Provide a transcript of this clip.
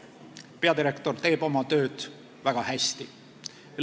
Peadirektor teeb oma tööd väga hästi.